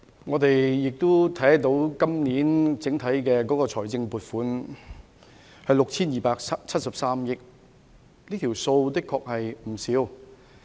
我們看到，本年整體的財政撥款達到 6,273 億元，的確並非小數目。